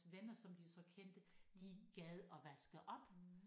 Venner som de jo så kendte de gad at vaske op